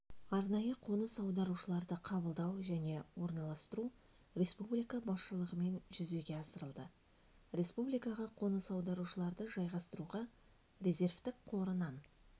арнайы қоныс аударушыларды қабылдау және орналастыру республика басшылығымен жүзеге асырылды республикаға қоныс аударушыларды жайғастыруға резервтік қорынан